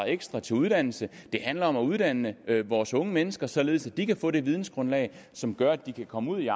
ekstra til uddannelse det handler om at uddanne vores unge mennesker således at de kan få det vidensgrundlag som gør at de kan komme ud i